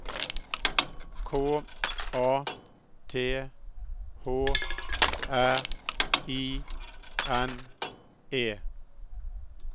K A T H R I N E